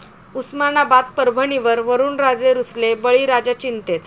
उस्मानाबाद, परभणीवर वरूणराजे रुसले, बळीराजा चिंतेत